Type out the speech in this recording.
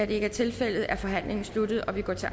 ikke er tilfældet er forhandlingen sluttet og vi går til